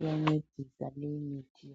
Iyancedisa leyi mithi.